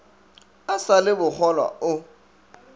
a sa le bokgolwa o